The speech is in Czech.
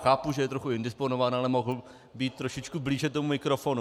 Chápu, že je trochu indisponován, ale mohl být trošičku blíže tomu mikrofonu.